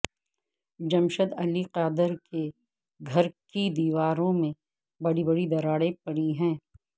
جمشید علی قادر کے گھر کی دیواروں میں بڑی بڑی دراڑیں پڑی ہیں